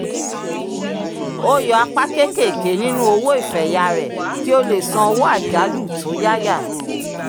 ó yọ apá kéékèèké nínú owó ìfẹ̀yà rẹ̀ kí ó lè san owó àjálù tó yáyà